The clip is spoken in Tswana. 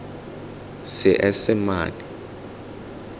seesemane